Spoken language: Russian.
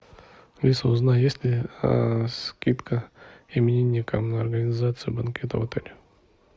алиса узнай есть ли скидка именинникам на организацию банкета в отеле